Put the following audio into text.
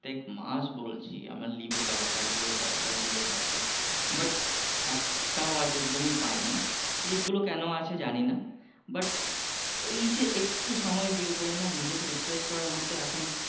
প্রত্যেক মাস বলছি আমার leave এর দরকার leave এর দরকার leave এর দরকার but একটাও আজ অবধি আমি পাইনি leave গুলো কেন আছে জানি না but এই যে একটু সময় বের করে না নিজেকে refresh করার মতো এখন